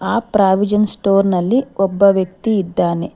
ಆ provision store ನಲ್ಲಿ ಒಬ್ಬ ವ್ಯಕ್ತಿ ಇದ್ದಾನೆ.